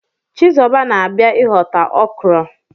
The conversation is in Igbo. Chizuba na-abia ihota okra.